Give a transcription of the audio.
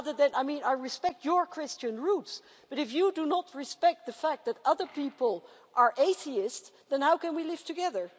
I mean I respect your Christian roots, but if you do not respect the fact that other people are atheists, then how can we live together?